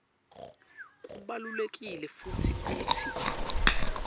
kubalulekile futsi kutsi